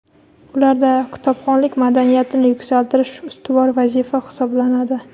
ularda kitobxonlik madaniyatini yuksaltirish ustuvor vazifa hisoblanadi.